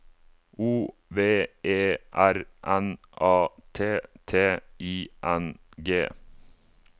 O V E R N A T T I N G